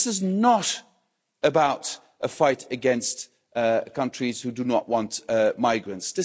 This is not about a fight against countries who do not want migrants.